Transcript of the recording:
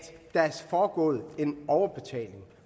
der er foregået en overbetaling